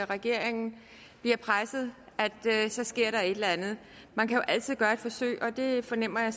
regeringen blev presset så skete der et eller andet man kan jo altid gøre et forsøg og det fornemmer jeg